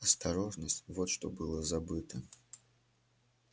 осторожность вот что было забыто